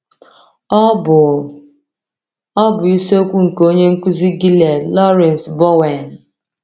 Ọ bụ Ọ bụ isiokwu nke onye nkuzi Gilead, Lawrence Bowen.